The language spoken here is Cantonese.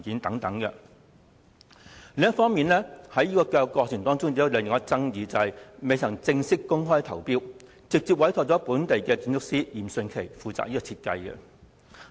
過程中另一個重大爭議，就是項目未曾正式公開招標，便直接委託本地建築師嚴迅奇負責設計。